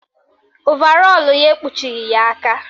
Ovarọlụ ya ekpuchighi ya aka